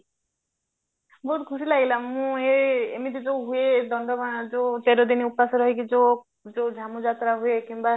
ବହୁତ ଖୁସି ଲାଗିଲା ମୁଁ ଏ ଏମିତି ଯୋଉ ହୁଏ ଦଣ୍ଡ ମା ଯୋଉ ତେର ଦିନି ଉପାସ ରହିକି ଯୋଉ ଯାତ୍ରା ହୁଏ କିମ୍ବା